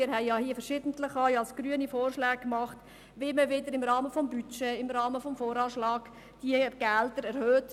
Wir haben ja hier verschiedentlich – auch seitens der grünen Fraktion – Vorschläge gemacht, wie man hier im Rahmen des Budgets, im Rahmen des Voranschlags wieder Gelder erhöht.